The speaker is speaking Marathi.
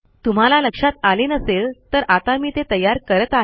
तुम्हाला लक्षात आले नसेल तर आता मी ते तयार करत आहे